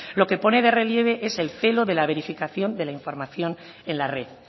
lo que pone de relieve es el celo de la verificación de la información en la red